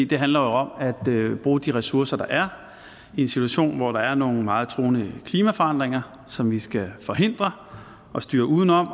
det handler om at bruge de ressourcer der er i en situation hvor der er nogle meget truende klimaforandringer som vi skal forhindre og styre uden om